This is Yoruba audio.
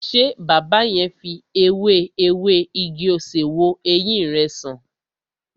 Ṣé baba yẹn fi ewé ewé igi-osè wo ẹyin rẹ san?